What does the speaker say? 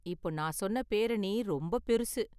இப்போ நான் சொன்ன பேரணி ரொம்ப பெருசு